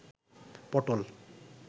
পটল